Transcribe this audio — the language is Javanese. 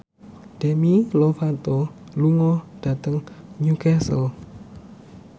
Demi Lovato lunga dhateng Newcastle